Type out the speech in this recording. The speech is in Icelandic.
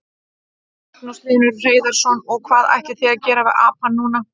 Magnús Hlynur Hreiðarsson: Og hvað ætlið þið að gera við apann núna?